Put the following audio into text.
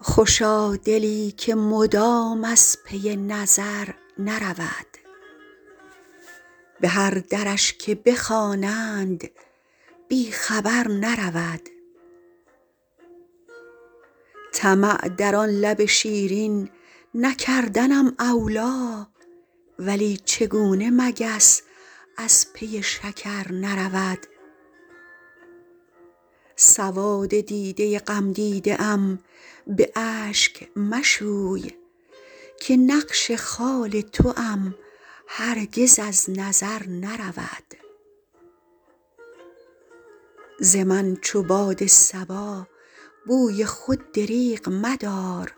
خوشا دلی که مدام از پی نظر نرود به هر درش که بخوانند بی خبر نرود طمع در آن لب شیرین نکردنم اولی ولی چگونه مگس از پی شکر نرود سواد دیده غمدیده ام به اشک مشوی که نقش خال توام هرگز از نظر نرود ز من چو باد صبا بوی خود دریغ مدار